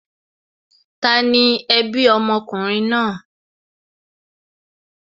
Tani ẹbí ọmọkùnrin náà?